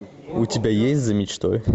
у тебя есть за мечтой